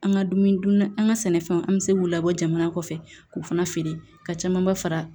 An ka dumuni dunna an ka sɛnɛfɛnw an bɛ se k'u labɔ jamana kɔfɛ k'u fana feere ka caman ba fara